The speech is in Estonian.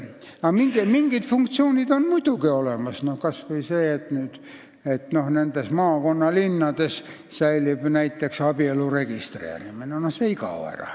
Aga mingid funktsioonid on muidugi olemas, kas või see, et maakonnalinnades säilib näiteks abielu registreerimine, see ei kao ära.